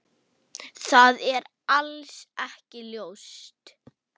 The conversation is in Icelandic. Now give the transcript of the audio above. Það er alls ekki ljóst.